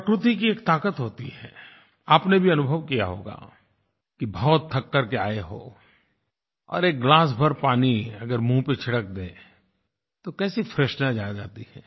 प्रकृति की एक ताक़त होती है आपने भी अनुभव किया होगा कि बहुत थक करके आए हो और एक गिलास भर पानी अगर मुहँ पर छिड़क दें तो कैसी फ्रेशनेस आ जाती है